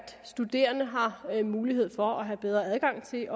studerende har mulighed for at have bedre adgang til